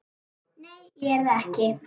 Nei, ég er það ekki.